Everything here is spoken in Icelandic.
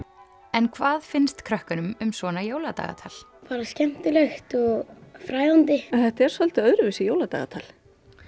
en hvað finnst krökkunum um svona jóladagatal bara skemmtilegt og fræðandi en þetta er svolítið öðruvísi jóladagatal